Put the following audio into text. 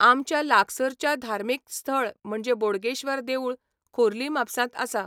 आमच्या लागसरच्या धार्मीक स्थळ म्हणजें बोडगेश्वर देवूळ, खोर्ली म्हापसांत आसा